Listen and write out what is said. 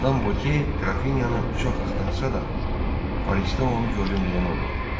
Madam Voke Qrafiniyanı çox axtarsa da, Parisdə onu gördüm deyən olmadı.